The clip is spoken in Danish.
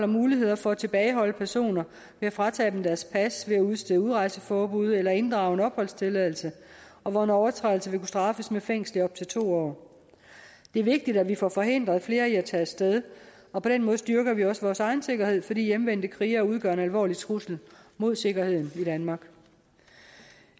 muligheder for at tilbageholde personer ved at fratage dem deres pas ved at udstede udrejseforbud eller inddrage en opholdstilladelse og hvor en overtrædelse vil kunne straffes med fængsel i op til to år det er vigtigt at vi får forhindret flere i at tage af sted og på den måde styrker vi også vores egen sikkerhed fordi hjemvendte krigere udgør en alvorlig trussel mod sikkerheden i danmark